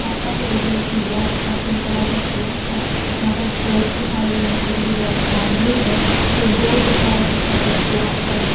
आस-पास yellow colour कि balls है पिंक कलर के पिलर्स है यहाँ पर स्टेअर्स दिखाई गई है जिनकी रेड बाउंड्री है एक डोर दिख रहा है जिसका कलर ब्लैक है।